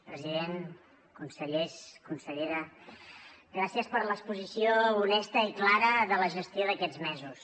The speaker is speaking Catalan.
president consellers consellera gràcies per l’exposició honesta i clara de la gestió d’aquests mesos